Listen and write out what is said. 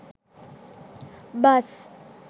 bus